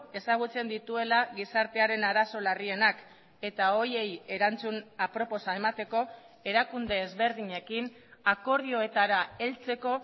ezagutzen dituela gizartearen arazo larrienak eta horiei erantzun aproposa emateko erakunde ezberdinekin akordioetara heltzeko